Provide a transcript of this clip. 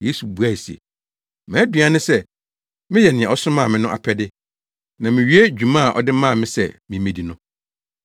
Yesu buae se, “Mʼaduan ne sɛ meyɛ nea ɔsomaa me no apɛde, na miwie dwuma a ɔde maa me sɛ mimmedi no.